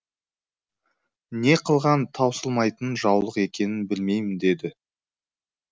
не қылған таусылмайтын жаулық екенін білмеймін деді